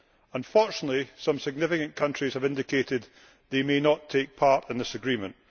Unfortunately, some significant countries have indicated that they may not take part in this agreement.